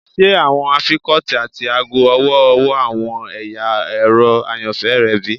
Ṣe awọn afikọti ati aago ọwọ-ọwọ awọn ẹya ẹrọ ayanfẹ rẹ bi?